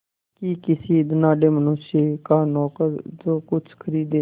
कि किसी धनाढ़य मनुष्य का नौकर जो कुछ खरीदे